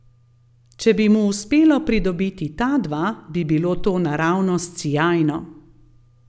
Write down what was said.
Če bi mu uspelo pridobiti ta dva, bi bilo to naravnost sijajno.